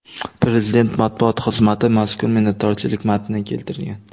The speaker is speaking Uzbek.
Prezident matbuot xizmati mazkur minnatdorchilik matnini keltirgan .